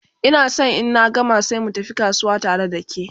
Ina San in na gama sai mu tafi kasuwa tare da ke